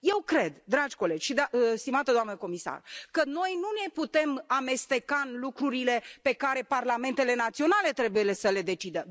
Eu cred, dragi colegi și stimată doamnă comisară, că noi nu ne putem amesteca în lucrurile pe care parlamentele naționale trebuie să le decidă.